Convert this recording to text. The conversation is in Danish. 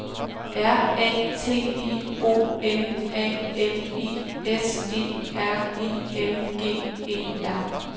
R A T I O N A L I S E R I N G E R